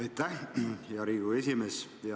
Aitäh, hea Riigikogu esimees!